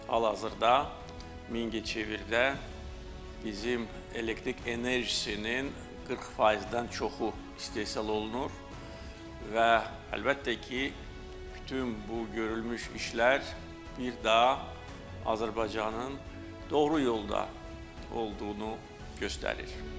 Hal-hazırda Mingəçevirdə bizim elektrik enerjisinin 40%-dən çoxu istehsal olunur və əlbəttə ki, bütün bu görülmüş işlər bir də Azərbaycanın doğru yolda olduğunu göstərir.